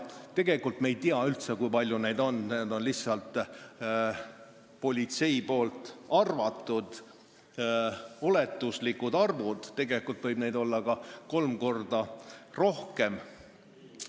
Tegelikult ei tea me üldse, kui palju neid on, need on lihtsalt politsei oletuslikud arvud, neid võib olla ka kolm korda rohkem.